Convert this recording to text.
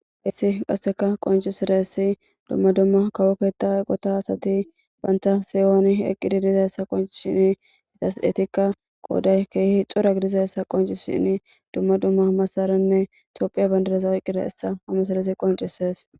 hissi qasseka qoncisaressi dumma dumma kawoketa eqota asati baynta siyooni eqqidi dizayssa qoncishini itas etikka qooday keehi hi xora gidizayssa qoncishin dumma dumma masaranne tophiya bandadeza oqqire essa hamasalezi qoncisees.